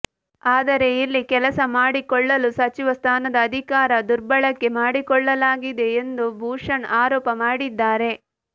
ಆದರೆ ಇಲ್ಲಿ ಕೆಲಸ ಮಾಡಿಕೊಳ್ಳಲು ಸಚಿವ ಸ್ಥಾನದ ಅಧಿಕಾರ ದುರ್ಬಳಕೆ ಮಾಡಿಕೊಳ್ಳಲಾಗಿದೆ ಎಂದು ಭೂಷಣ್ ಆರೋಪ ಮಾಡಿದ್ದಾರೆ